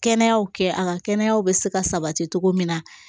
Kɛnɛya kɛ a ka kɛnɛya bɛ se ka sabati cogo min na